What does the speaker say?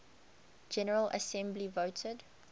general assembly voted